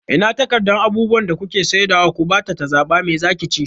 Ina takardan abubuwan da kuke saidawa ku bata ta zaɓa, me zaki ci?